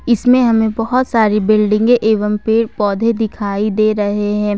इसमें हमें बहोत सारी बिल्डिंगे एवं पेड़ पौधे दिखाई दे रहे हैं।